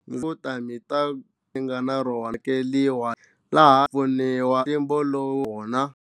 Vo ta ni ta mi nga na rona vekeriwa laha pfuniwa ntlimbo lowu wona.